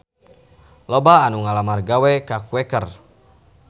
Loba anu ngalamar gawe ka Quaker